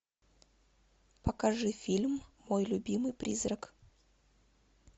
покажи фильм мой любимый призрак